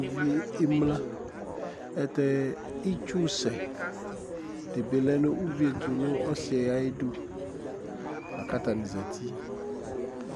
uvi yɛ emlǝ Ayɛlʋtɛ itsusɛ dɩ bɩ lɛ nʋ uvi yɛ tʋ nʋ ɔsɩ yɛ ayidu la kʋ atanɩ zati